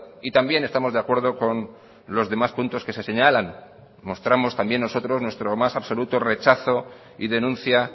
y también estamos de acuerdo con los demás puntos que se señalan mostramos también nosotros nuestro más absoluto rechazo y denuncia